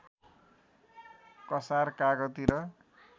कसार कागती र